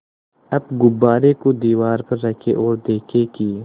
अब गुब्बारे को दीवार पर रखें ओर देखें कि